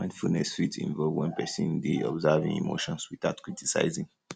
mindfulness um fit involve um when person dey um observe im emotions without criticizing